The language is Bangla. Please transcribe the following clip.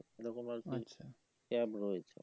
এরকম আর কি cab রয়েছে